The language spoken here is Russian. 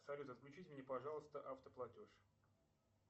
салют отключите мне пожалуйста автоплатеж